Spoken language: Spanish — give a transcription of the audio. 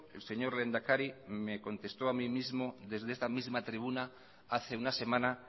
el señor lehendakari me contestó a mí mismo desde esta misma tribuna hace una semana